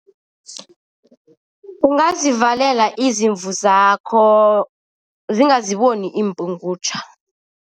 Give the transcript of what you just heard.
Ungazivalela izimvu zakho, zingaziboni iimpungutjha.